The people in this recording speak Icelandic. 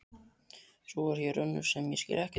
Svo er hér önnur sem ég skil ekkert í.